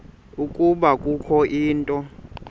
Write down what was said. ukuba kukho into